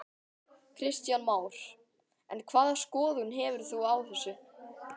Kristján Már: En hvaða skoðun hefur þú á þessu?